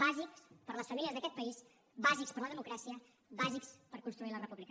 bàsics per a les famílies d’aquest país bàsics per a la democràcia bàsics per construir la república